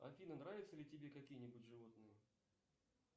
афина нравятся ли тебе какие нибудь животные